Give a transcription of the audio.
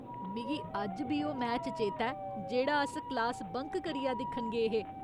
मिगी अज्ज बी ओह् मैच चेता ऐ जेह्ड़ा अस क्लास बंक करियै दिक्खन गे हे।